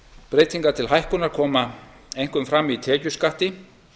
breytingar til hækkunar koma einkum fram í tekjuskatti